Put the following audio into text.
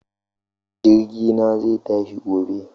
Jirgi na zai tashi gobe